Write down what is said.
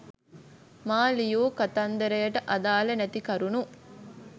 මා ලියූ කතන්දරයට අදාල නැති කරුණු